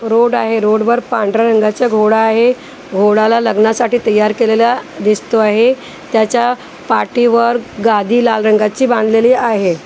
Road आहे road वर पांढऱ्या रंगाच्या घोडा आहे घोड्याला लग्नासाठी तयार केलेलं दिसतो आहे त्याच्या पाठीवर गादी लाल रंगाची बांधलेली आहे.